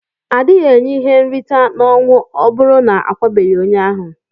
Adighi enye ihe nrita na ọnwụ ọburu na akwabeghi onye ahu.